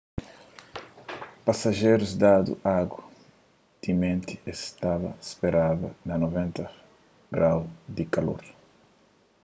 pasajerus dadu agu timenti es staba ta speraba na 90f-grau di kalor